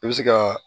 I bɛ se ka